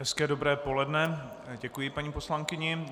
Hezké dobré poledne, děkuji paní poslankyni.